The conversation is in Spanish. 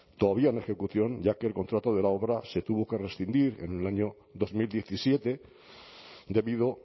todavía en ejecución ya que el contrato de la obra se tuvo que rescindir en el año dos mil diecisiete debido